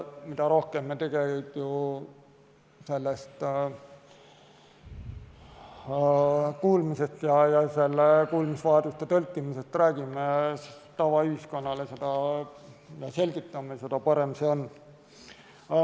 Mida rohkem me ju kuulmisest ja tõlkimisest räägime, tavaühiskonnale seda selgitame, seda parem on.